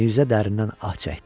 Mirzə dərindən ah çəkdi.